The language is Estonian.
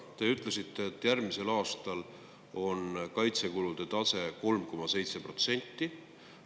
Te ütlesite, et järgmisel aastal on kaitsekulude tase 3,7%.